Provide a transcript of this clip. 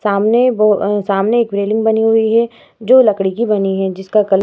सामने ब सामने एक बिल्डिंग बनी हुई है जो लकड़ी की बनी है जिसका कलर --